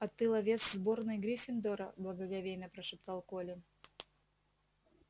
а ты ловец сборной гриффиндора благоговейно прошептал колин